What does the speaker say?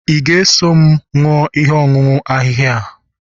ị ga-eso m ṅụọ ihe ọṅụṅụ ahịhịa a?